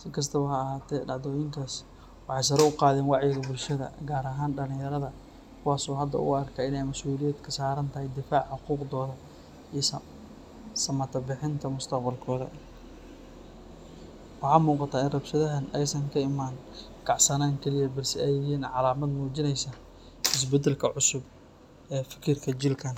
Si kastaba ha ahaatee, dhacdooyinkaas waxay sare u qaadeen wacyiga bulshada gaar ahaan dhalinyarada kuwaas oo hadda u arka in ay masuuliyad ka saaran tahay difaaca xuquuqdooda iyo samatabixinta mustaqbalkooda. Waxaa muuqata in rabshadahan aysan ka imaan kacsanaan kaliya balse ay yihiin calaamad muujinaysa isbeddelka cusub ee fikirka jiilkan.